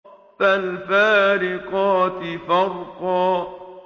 فَالْفَارِقَاتِ فَرْقًا